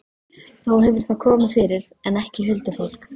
Þó hefur það komið fyrir, en ekki huldufólk.